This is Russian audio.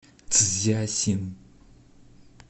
цзясин